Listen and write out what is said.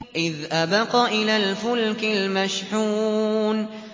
إِذْ أَبَقَ إِلَى الْفُلْكِ الْمَشْحُونِ